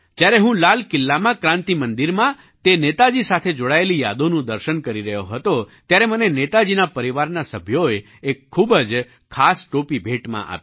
જ્યારે હું લાલ કિલ્લામાં ક્રાન્તિ મંદિરમાં તે નેતાજી સાથે જોડાયેલી યાદોનું દર્શન કરી રહ્યો હતો ત્યારે મને નેતાજીના પરિવારના સભ્યોએ એક ખૂબ જ ખાસ ટોપી ભેટમાં આપી